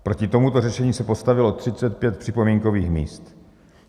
Proti tomuto řešení se postavilo 35 připomínkových míst.